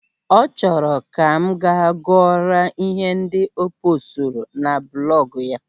Ọ chọrọ Ka m ga-gụọrọ ihe ndị o poosturu na blọgụ ya.